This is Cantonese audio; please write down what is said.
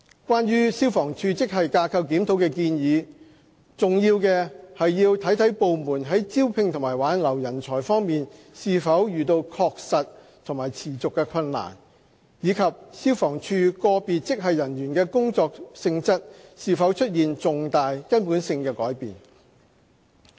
關於消防處職系架構檢討的建議，重要的是要看部門在招聘和挽留人才方面是否遇到確實和持續的困難，以及消防處個別職系人員的工作性質是否出現重大、根本性的改變。